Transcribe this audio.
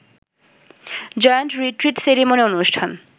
joint retreat ceremony অনুষ্ঠান